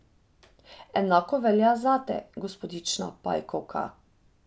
Enako velja zate, gospodična Pajkovka!